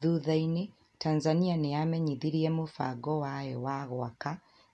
Thutha-inĩ, Tanzania nĩ yamenyithirie mũbango wayo wa gwaka